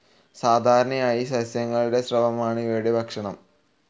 സാധാരണയായി സസ്യങ്ങളുടെ സ്രവമാണ് ഇവയുടെ ഭക്ഷണം.